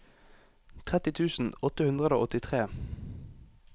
tretti tusen åtte hundre og åttitre